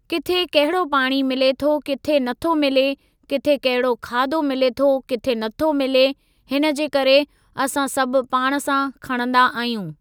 किथे कहिड़ो पाणी मिले थो किथे नथो मिले, किथे कहिड़ो खाधो मिले थो किथे नथो मिले, हिन जे करे असां सभु पाण सां खणंदा आहियूं।